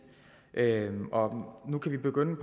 nu kan vi begynde